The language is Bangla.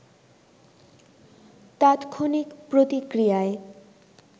তাৎক্ষণিক প্রতিক্রিয়ায়